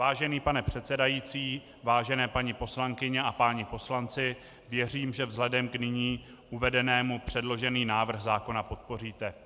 Vážený pane předsedající, vážené paní poslankyně a páni poslanci, věřím, že vzhledem k nyní uvedenému předložený návrh zákona podpoříte.